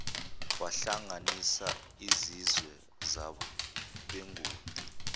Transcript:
wahlanganisa izizwe zabenguni